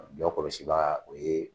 Jɔ kɔlɔsiba o ye